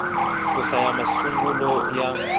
ku hlaya i masungulo ya